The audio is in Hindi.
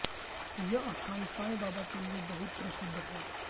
यह स्थान सांई बाबा के लिए बहुत प्रसिद्ध है